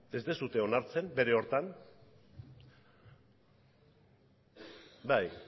ez duzue onartzen bere hartan bai